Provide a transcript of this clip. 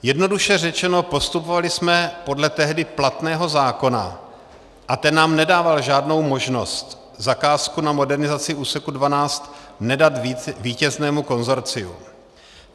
Jednoduše řečeno, postupovali jsme podle tehdy platného zákona a ten nám nedával žádnou možnost zakázku na modernizaci úseku 12 nedat vítěznému konsorciu.